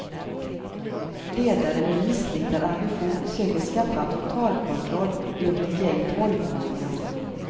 Ledare med missriktad ambition söker skaffa totalkontroll över ett gäng tolvåringar.